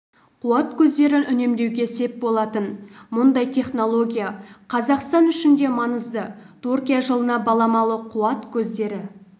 қуат көздерін үнемдеуге сеп болатын мұндай технология қазақстан үшін де маңызды түркия жылына баламалы қуат көздері